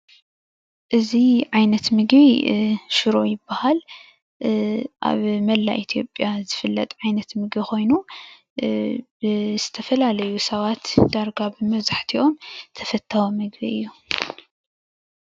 እዚ ዓይነት ምግቢ ሽሮ ይበሃል. ኣብ መላእ ኢትዮጵያ ዝፍለጥ ዓይነት ምግቢ ኮይኑ ብዝተፈላለዩ ሰባት ዳርጋ መብዛሕቲኦም ተፈታዊ ምግቢ እዩ::